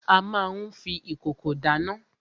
A má n fi ìkòkò dáná.